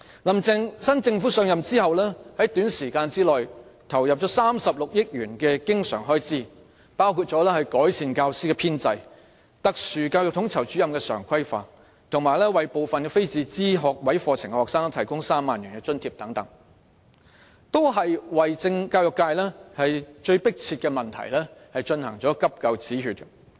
"林鄭"新政府上任後，在短時間內投放了36億元的經常開支，包括改善教師編制、特殊教育統籌主任常規化，以及為部分非自資學位課程的學生提供3萬元津貼，為教育界最迫切的問題進行"急救止血"。